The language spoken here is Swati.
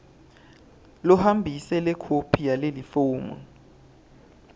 lohambise lekhophi yalelifomu